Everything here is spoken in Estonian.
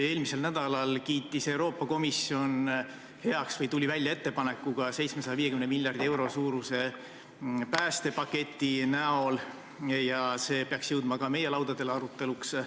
Eelmisel nädalal kiitis Euroopa Komisjon heaks või tuli välja ettepanekuga võtta vastu 750 miljardi euro suurune päästepakett, mis peaks jõudma aruteluks ka meie laudadele.